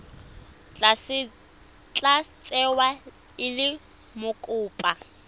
tla tsewa e le mokopa